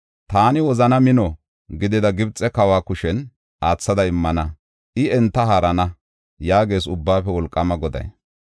Taani wozana mino gidida Gibxe kawa kushen aathada immana; I enta haarana” yaagees Ubbaafe Wolqaama Goday.